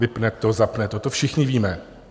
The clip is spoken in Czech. Vypne to, zapne to, to všichni víme.